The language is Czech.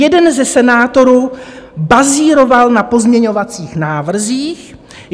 Jeden ze senátorů bazíroval na pozměňovacích návrzích.